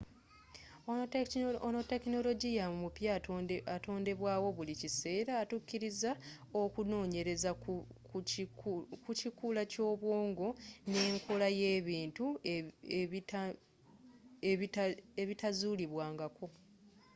ono tekinologiya omupya atondebwawo buli kiseera atuukiriza okunoonyereza ku kikula ky'obwongo n'enkola y'ebintu ebitazulibwa nga ko